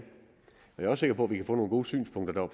jeg sikker på at vi kan få nogle gode synspunkter